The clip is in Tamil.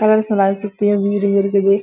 கொலாபியுள்ள ஆஹ் இருக்குது